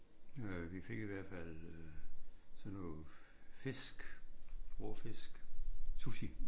Øh vi fik i hvert fald øh sådan noget fisk rå fisk sushi